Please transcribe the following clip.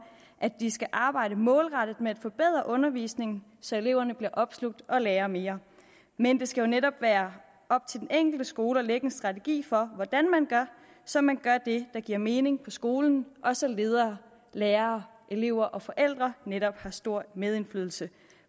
at de skal arbejde målrettet med at forbedre undervisningen så eleverne bliver opslugt og lærer mere men det skal netop være op til den enkelte skole at lægge en strategi for hvordan man gør så man gør det der giver mening på skolen og så ledere lærere elever og forældre netop har stor medindflydelse